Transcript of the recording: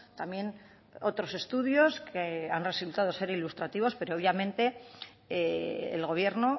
también otros estudios que han resultado ser ilustrativos pero obviamente el gobierno